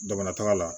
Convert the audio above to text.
Dugumataga la